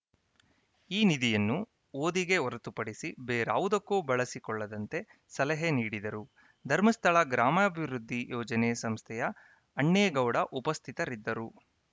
ಈ ನಿಧಿಯನ್ನು ಓದಿಗೆ ಹೊರತುಪಡಿಸಿ ಬೇರಾವುದಕ್ಕೂ ಬಳಸಿಕೊಳ್ಳದಂತೆ ಸಲಹೆ ನೀಡಿದರು ಧರ್ಮಸ್ಥಳ ಗ್ರಾಮಾಭಿವೃದ್ಧಿ ಯೋಜನೆ ಸಂಸ್ಥೆಯ ಅಣ್ಣೇಗೌಡ ಉಪಸ್ಥಿತರಿದ್ದರು